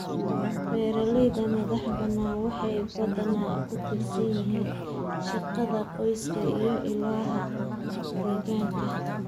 Beeralayda madaxbannaan waxay badanaa ku tiirsan yihiin shaqada qoyska iyo ilaha degaanka.